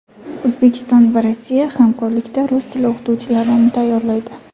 O‘zbekiston va Rossiya hamkorlikda rus tili o‘qituvchilarini tayyorlaydi.